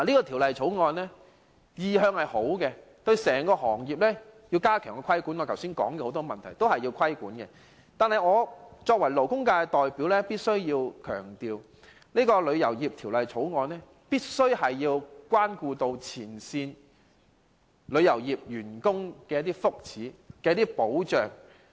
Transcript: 《條例草案》的原意是好的，要針對我剛才提及整個行業的很多問題加強規管；但是，我作為勞工界代表，必須強調《條例草案》必須顧及前線旅遊業從業員的福祉和保障。